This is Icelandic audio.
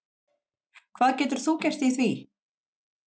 Hvað getur þú gert í því?